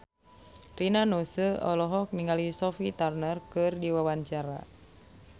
Rina Nose olohok ningali Sophie Turner keur diwawancara